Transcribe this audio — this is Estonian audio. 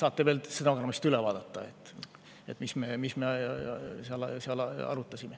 Te saate stenogrammist veel üle vaadata, mis me seal arutasime.